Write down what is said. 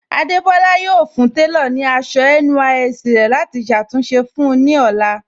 Adébọ́lá yọ̀ọ́ fún tẹlọ̀ ní àṣọ NYSC rẹ̀ láti ṣàtúnṣe fún un ní ọlá.